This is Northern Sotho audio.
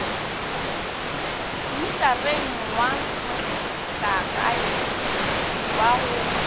mmitareng wa mohlagae wa go